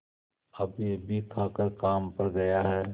अभीअभी खाकर काम पर गया है